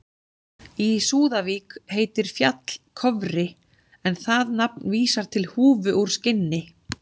Í Súðavík heitir fjall Kofri en það nafn vísar til húfu úr skinni.